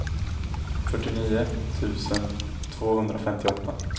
fyrtionio tusen tvåhundrafemtioåtta